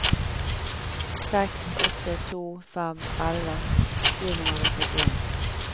seks åtte to fem elleve sju hundre og syttien